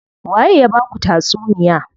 Waye ya baku tatsuniya?